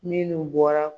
Minnu bɔra